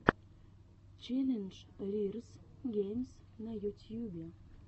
челлендж рирз геймс на ютьюбе